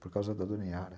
por causa da dona Yara